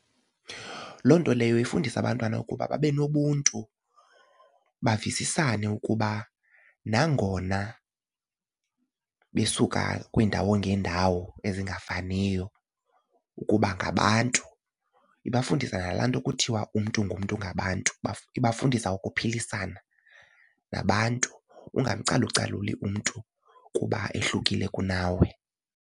Loo nto leyo ifundisa abantwana ukuba babe nobuntu bavisisane ukuba nangona besuka kwiindawo ngeendawo ezingafaniyo ukuba ngabantu. Ibafundisa nalaa nto kuthiwa umntu ngumntu ngabantu ibafundisa ukuphilisana nabantu ungamcalucaluli umntu kuba ehlukile kunawe.